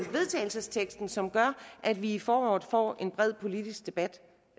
teksten som gør at vi i foråret får en bred politisk debat